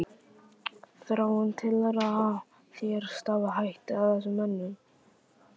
Þráinn: Telurðu að þér stafi hætta af þessum mönnum?